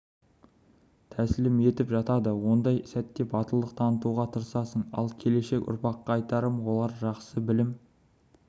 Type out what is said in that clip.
тәсілім етіп жатады ондай сәтте батылдық танытуға тырысасың ал келешек ұрпаққа айтарым олар жақсы білім